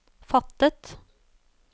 fattet